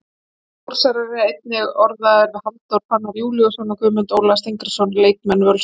Þórsarar eru einnig orðaðir við Halldór Fannar Júlíusson og Guðmund Óla Steingrímsson leikmenn Völsungs.